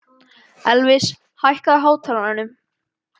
Elvis, hækkaðu í hátalaranum.